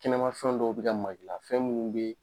Kɛnɛma fɛn dɔw bi ka mag'i la fɛn minnu bɛ